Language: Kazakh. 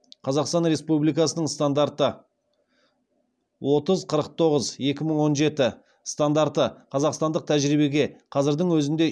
қазақстан республикасының стандарты отыз қырыз тоғыз екі мың он жеті стандарты қазақстандық тәжірибеге қазірдің өзінде